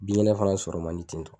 Bin kɛnɛ fana sɔrɔ man di ten tɔ